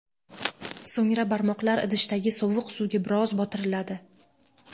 So‘ngra barmoqlar idishdagi sovuq suvga biroz botiriladi.